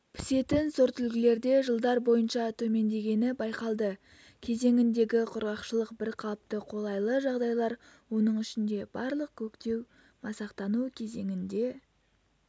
пісетін сортүлгілерде жылдар бойынша төмендегені байқалды кезеңіндегі құрғақшылық бірқалыпты қолайлы жағдайлар оның ішінде барлық көктеу-масақтану кезеңінде